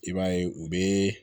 I b'a ye u bɛ